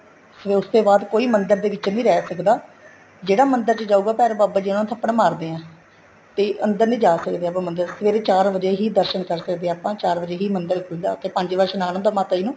ਫੇਰ ਉਸ ਤੇ ਬਾਅਦ ਕੋਈ ਮੰਦਰ ਦੇ ਵਿੱਚ ਨਹੀਂ ਰਹਿ ਸਕਦਾ ਜਿਹੜਾ ਮੰਦਿਰ ਵਿੱਚ ਜਾਉਗਾ ਭੈਰੋ ਬਾਬਾ ਜੀ ਉਹਨੂੰ ਥੱਪੜ ਮਾਰਦੇ ਹੈ ਤੇ ਅੰਦਰ ਨਹੀਂ ਜਾਂ ਸਕਦੇ ਆਪਾਂ ਮੰਦਿਰ ਦੇ ਸਵੇਰੇ ਚਾਰ ਵਜ਼ੇ ਹੀ ਦਰਸ਼ਨ ਕਰ ਸਕਦੇ ਹਾਂ ਆਪਾਂ ਚਾਰ ਵਜ਼ੇ ਹੀ ਮੰਦਰ ਖੁੱਲਦਾ ਏ ਉੱਥੇ ਪੰਜ ਵਜ਼ੇ ਇਸ਼ਨਾਨ ਹੁੰਦਾ ਮਾਤਾ ਜੀ ਨੂੰ